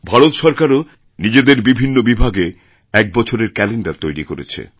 ভারত সরকারও নিজেদের বিভিন্ন বিভাগে এক বছরের ক্যালেণ্ডার তৈরি করেছে